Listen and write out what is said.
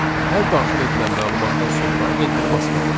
Hər daxil edilən məlumatdan sonra enteri basmalıyıq.